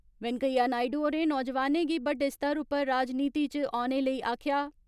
वैंकेया नायडू होरें नौजवानें गी बड्डे स्तर उप्पर राजनीति च औने लेई आक्खेआ।